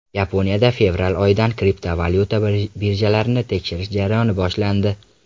Yaponiyada fevral oyidan kriptovalyuta birjalarini tekshirish jarayoni boshlandi.